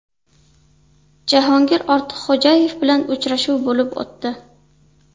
Jahongir Ortiqxo‘jayev bilan uchrashuv bo‘lib o‘tdi.